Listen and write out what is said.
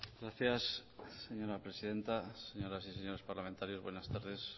gracias señora presidenta señoras y señores parlamentarios buenas tardes